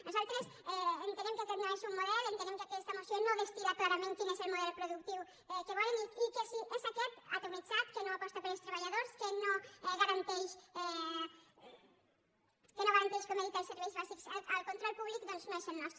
nosaltres entenem que aquest no és un model entenem que aquesta moció no destil·el model productiu que volen i que si és aquest atomitzat que no aposta pels treballadors que no garanteix com he dit els serveis bàsics al control públic doncs no és el nostre